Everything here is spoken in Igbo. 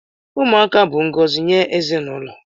Ụmụaka bụ ngọzi nye ezinụlọ